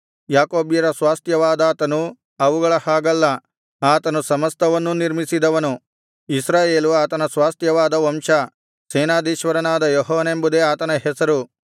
ಯಾಕೋಬ್ಯರ ಸ್ವಾಸ್ತ್ಯವಾದಾತನು ಅವುಗಳ ಹಾಗಲ್ಲ ಆತನು ಸಮಸ್ತವನ್ನೂ ನಿರ್ಮಿಸಿದವನು ಇಸ್ರಾಯೇಲು ಆತನ ಸ್ವಾಸ್ತ್ಯವಾದ ವಂಶ ಸೇನಾಧೀಶ್ವರನಾದ ಯೆಹೋವನೆಂಬುದೇ ಆತನ ಹೆಸರು